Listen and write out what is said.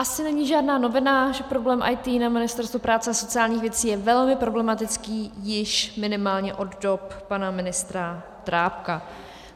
Asi není žádná novina, že problém IT na Ministerstvu práce a sociálních věcí je velmi problematický již minimálně od dob pana ministra Drábka.